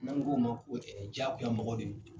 N'an k'o o ma ko jagoya mɔgɔ de do.